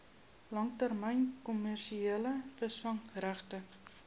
langtermyn kommersiële visvangregte